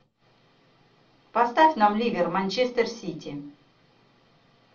поставь нам ливер манчестер сити